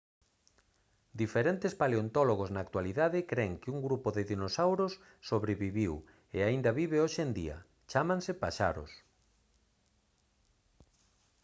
diferentes paleontólogos na actualidade cren que un grupo de dinosauros sobreviviu e aínda vive hoxe en día chámanse paxaros